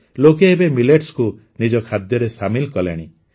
ଲୋକେ ଏବେ ମିଲେଟ୍ସକୁ ନିଜ ଖାଦ୍ୟରେ ସାମିଲ କଲେଣି